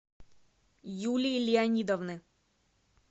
юлии леонидовны